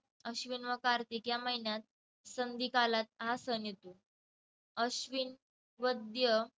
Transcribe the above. अश्विन व कार्तिक या महिन्यात संधीकालात हा सण येतो. अश्विन वद्य